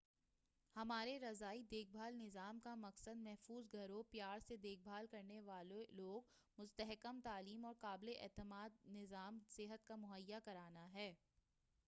ہمارے رضاعی دیکھ بھال نظام کا مقصد محفوظ گھروں پیار سے دیکھ بھال کرنے والے لوگوں مستحکم تعلیم اور قابل اعتماد نظام صحت کا مہیا کرانا ہے